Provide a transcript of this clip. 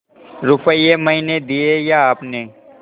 रुपये मैंने दिये या आपने